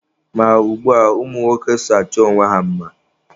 Ma ugbua, ụmụ nwoke so achọ onwe ha mma